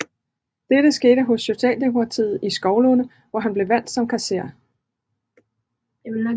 Dette skete hos Socialdemokratiet i Skovlunde hvor han blev valgt som kasserer